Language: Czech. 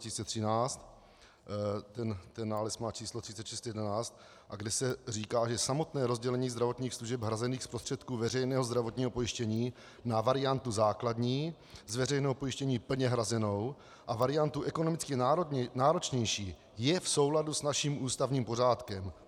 Ten nález má číslo 3611, kde se říká, že samotné rozdělení zdravotních služeb hrazených z prostředků veřejného zdravotního pojištění na variantu základní, z veřejného pojištění plně hrazenou, a variantu ekonomicky náročnější je v souladu s naším ústavním pořádkem.